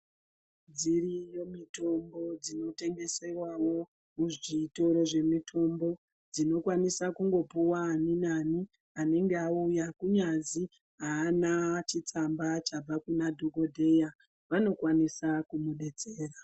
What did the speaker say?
Dziriyo mitombo dzinotengesewawo muzvitoro zvemitombo dzinokwanisa kungopuwa ani nani anenge auya kunyazi aana chitsamba chabva kuna dhokodheya vanokwanisa kumudetsera.